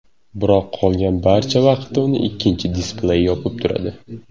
Biroq qolgan barcha vaqtda uni ikkinchi displey yopib turadi.